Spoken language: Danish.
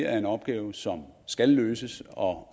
er en opgave som skal løses og